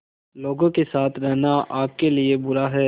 लोगों के साथ रहना आपके लिए बुरा है